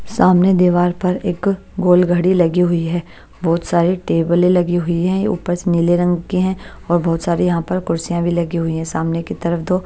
सामने दीवार पर एक गोल घड़ी लगी हुई है बहुत सारी टेबलें लगी हुई हैं ऊपर से नीले रंग की हैं और बहुत सारी यहाँ पर कुर्सियाँ भी लगी हुई हैं सामने की तरफ़ तो--